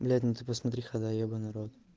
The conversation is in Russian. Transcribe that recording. блять ну ты посмотри хода ебанный рот